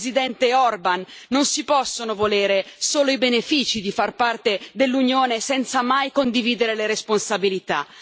Presidente Orban, non si possono volere solo i benefici di far parte dell'Unione senza mai condividere le responsabilità.